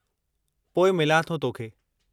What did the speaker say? पोइ मिलां थो तोखे।